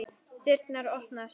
Dyrnar opnast.